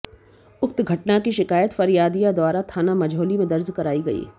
उक्त घटना की शिकायत फरियादिया द्वारा थाना मझौली में दर्ज कराई गई